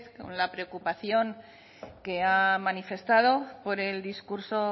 con la preocupación que ha manifestado por el discurso